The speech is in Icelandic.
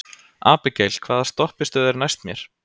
Abigael, hvaða stoppistöð er næst mér?